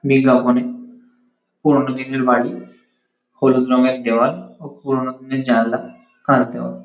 বিজ্ঞাপনে পুরোনো দিনের বাড়ি। হলুদ রঙের দেওয়াল ও পুরোনো দিনের জানলা কাঁচ দেওয়া।